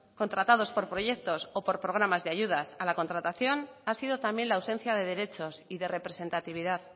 contratados por proyectos o por programas de ayudas a la contratación ha sido también la ausencia de derechos y de representatividad